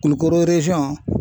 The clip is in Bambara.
Kulukoro